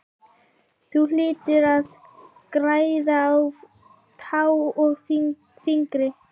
Þú hlýtur að græða á tá og fingri!